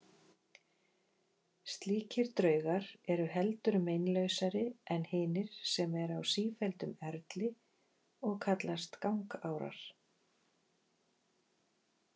Slíkir draugar eru heldur meinlausari en hinir sem eru á sífelldum erli og kallast gangárar.